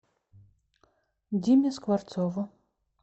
диме скворцову